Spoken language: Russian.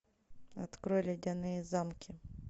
открой ледяные замки